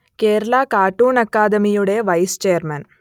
Kerala cartoon അക്കാദമിയുടെ vice chairman